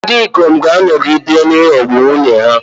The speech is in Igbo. Ndị ikom ga-anọgide na-aghọgbu nwunye ha.